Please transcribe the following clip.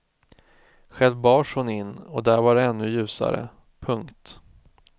Själv bars hon in och där var det ännu ljusare. punkt